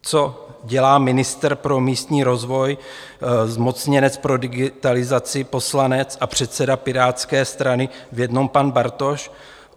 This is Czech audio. Co dělá ministr pro místní rozvoj, zmocněnec pro digitalizaci, poslanec a předseda Pirátské strany v jednom pan Bartoš?